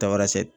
Tarasɛ